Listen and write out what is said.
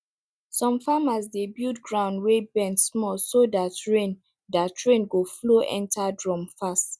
some farmers dey build ground wey bend small so dat rain dat rain go flow enter drum fast